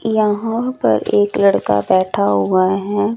यहाँ पर एक लड़का बैठा हुआ है।